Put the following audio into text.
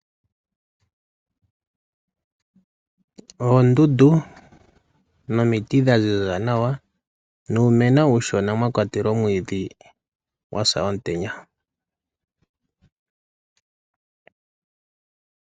Oondundu nomiti dha ziza nawa nuumeno uushona mwa kwatelwa omwiidhi gwa sa omutenya.